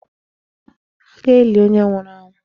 A ga-eli onye nwụrụ anwụ.